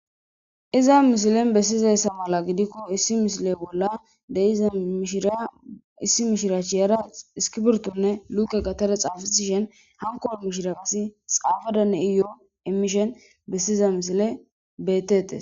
Iza mishilen bessizayssa mala gidikko issi mishile bolla deiza mishiriya issi mishiraachi yera iskibirtonne luke gatare xaafatishen hankoor mishira assi xaafadane iyoo emishen bessiza misile betete